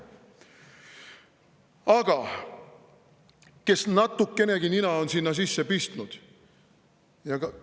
Aga kes natukenegi nina on sinna sisse pistnud,.